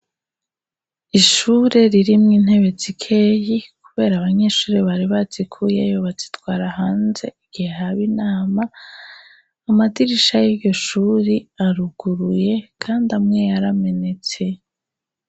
Ishure ririmwo intebe zikeyi kubera abanyeshure bari bazikuyeyo bazitwara hanze igihe haba inama, amadirisha y'iryo shuri aruguruye kandi amwe yaramenetse.